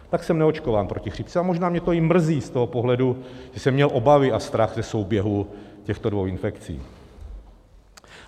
Tak jsem neočkován proti chřipce a možná mě to i mrzí z toho pohledu, že jsem měl obavy a strach ze souběhu těchto dvou infekcí.